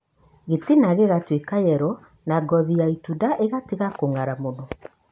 Gĩtina gĩgatuĩka yelo, na ngothi ya itunda ĩgatiga kũnga'ra mũno.